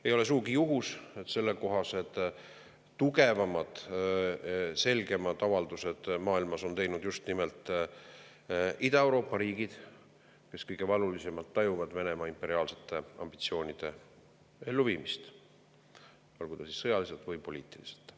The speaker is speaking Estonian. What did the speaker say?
Ei ole sugugi juhus, et sellekohased tugevamad, selgemad avaldused maailmas on teinud just nimelt Ida-Euroopa riigid, kes kõige valulisemalt tajuvad Venemaa imperiaalsete ambitsioonide elluviimist, olgu siis sõjaliselt või poliitiliselt.